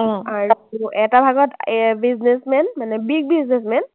আৰু এটা ভাগত এৰ businessman মানে big businessman,